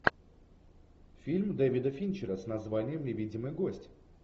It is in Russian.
фильм девида финчера с названием невидимый гость